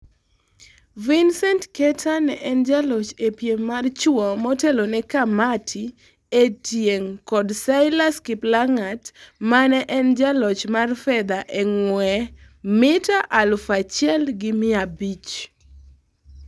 Vincent Keter ne en jaloch ee piem mar chuo motelone Kamati Etieng kod Silas Kiplagat mane en jaloch mar fedha ee ng'wee mita aluf achiel gi mia abich.